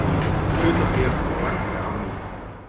Hlutabréf lækka á ný